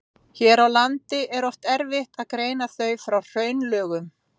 Hér á landi er oft erfitt að greina þau frá hraunlögum.